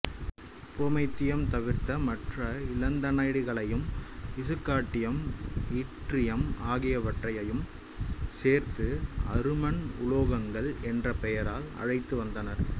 promethium தவிர்த்த மற்ற இலந்தனைடுகளையும் இசுக்காண்டியம் இட்ரியம் ஆகியவற்றையும் சேர்த்து அருமண் உலோகங்கள் என்ற பெயரால் அழைத்து வந்தனர்